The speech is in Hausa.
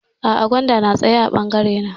A'a gwanda na tsaya a bangare na